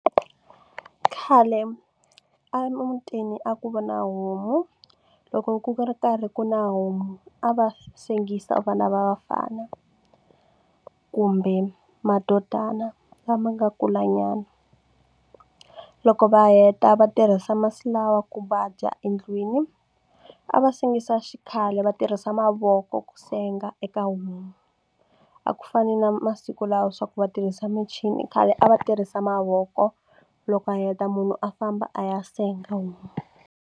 Khale emutini a ku va na homu loko ku ri karhi ku na homu a va sengisa vana va vafana kumbe madodana lama nga kulanyana. Loko va heta va tirhisa masi lawa ku va dya endlwini a va sengisa xikhale va tirhisa mavoko ku senga eka homu a ku fani na masiku lawa swa ku va tirhisa michini khale a va tirhisa mavoko loko a heta munhu a famba a ya senga homu.